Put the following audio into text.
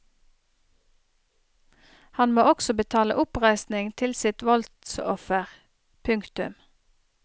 Han må også betale oppreisning til sitt voldsoffer. punktum